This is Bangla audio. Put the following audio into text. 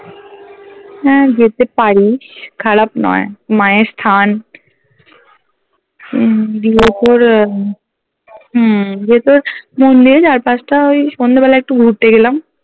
হ্যা যেতে পারিস খারাপ নয় মায়ের স্থান উম দিয়ে তোর আহ হম দিয়ে তোর মন্দিরের চারপাশটা ওই সন্ধেবেলা একটু ঘুরতে গেলাম